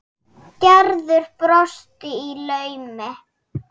Gerður brosti í laumi.